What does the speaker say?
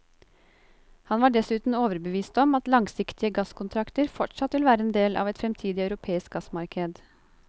Han var dessuten overbevist om at langsiktige gasskontrakter fortsatt vil være en del av et fremtidig europeisk gassmarked.